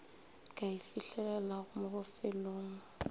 ka e fihlelelago mo bofelong